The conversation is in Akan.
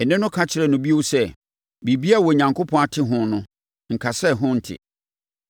Nne no ka kyerɛɛ no bio sɛ, “Biribiara a Onyankopɔn ate ho no, nka sɛ ɛho nte.”